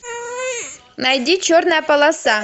найди черная полоса